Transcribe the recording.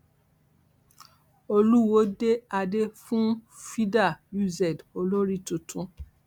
olùwọọ dé adé fún firda uz olórí tuntun